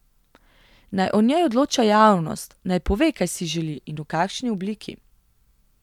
Naj o njej odloča javnost, naj pove, kaj si želi in v kakšni obliki.